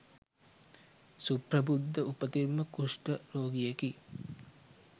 සුප්‍රබුද්ධ උපතින්ම කුෂ්ඨ රෝගියෙකි.